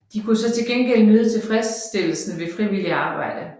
De kunne så til gengæld nyde tilfredsstillesen ved frivilligt arbejde